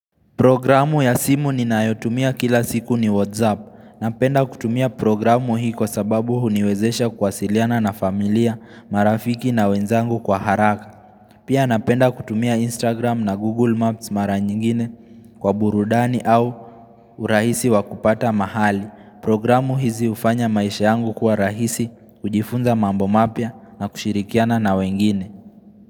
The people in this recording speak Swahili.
Programu ya simu ninayotumia kila siku ni Whatsapp. Napenda kutumia programu hii kwa sababu huniwezesha kuwasiliana na familia, marafiki na wenzangu kwa haraka. Pia napenda kutumia Instagram na Google Maps mara nyingine kwa burudani au urahisi wa kupata mahali. Programu hizi hufanya maisha yangu kwa rahisi, kujifunza mambo mapya na kushirikiana na wengine.